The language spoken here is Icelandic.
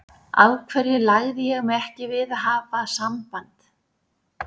Af hverju lagði ég mig ekki fram við að hafa samband?